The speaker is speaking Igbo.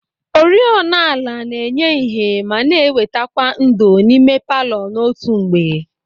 Oriọna ala na-enye ìhè ma na-ewetakwa ńdò n'ime palọ n'otu mgbe.